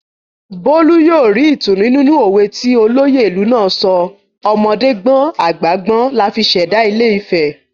Bólú yóò ri ìtùnú nínú òwe ti olóyè ìlú náà sọ "ọmọdé gbọ́n àgbà gbọ́n la fi ṣẹ̀dá ilé-ifẹ̀"